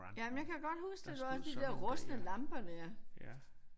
Jamen jeg kan godt huske det der var de der rustne lamper der